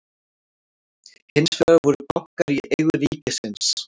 hins vegar voru bankar í eigu ríkisins